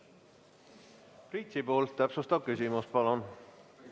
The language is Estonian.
Priit Sibul, täpsustav küsimus, palun!